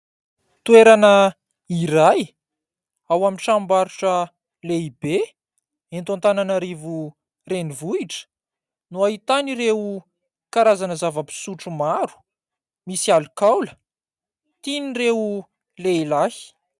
Toerana iray ao amin'ny tranom-barotra lehibe. Eto Antananarivo renivohitra no ahitana ireo karazana zava-pisotro maro misy alikaola tian'ireo lehilahy.